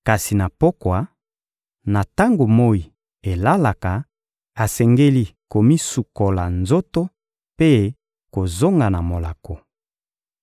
Kasi na pokwa, na tango moyi elalaka, asengeli komisukola nzoto mpe kozonga na molako.